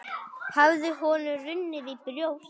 Hafði honum runnið í brjóst?